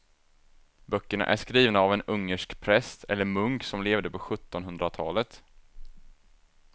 Böckerna är skrivna av en ungersk präst eller munk som levde på sjuttonhundratalet.